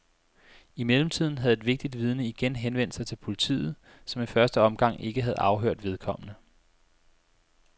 I mellemtiden havde et vigtigt vidne igen henvendt sig til politiet, som i første omgang ikke havde afhørt vedkommende.